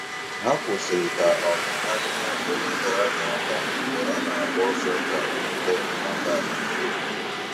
Ha kwụsịrị ka um ha nyere onye dara ada aka mgbe ọ na - agba ọsọ ka o nweta enyemaka ahụ ike.